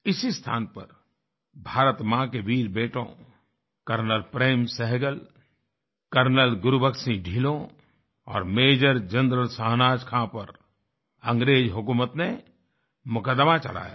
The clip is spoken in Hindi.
इसी स्थान पर भारत माँ के वीर बेटों कर्नल प्रेम सहगल कर्नल गुरबख्श सिंह ढिल्लो और मेजर जनरल शाहनवाज़ खां पर अंग्रेज हुकूमत ने मुकदमा चलाया था